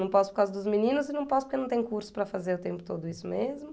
Não posso por causa dos meninos e não posso porque não tem curso para fazer o tempo todo isso mesmo.